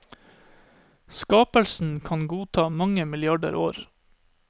Skapelsen kan godt ta mange milliarder år.